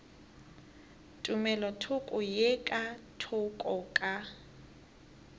tumelothoko ye ka thoko ka